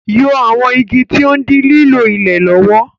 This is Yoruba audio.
Yọ àwọn igi tí ó ń dí lílo ilẹ̀ lọ́wọ́.